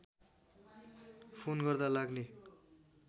phone गर्दा लाग्ने